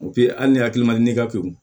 hali ni hakili man di ne ka pewu